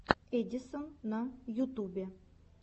эдисон на ютубе